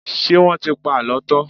Ṣé wọ́n ti pa àlọ́ tán?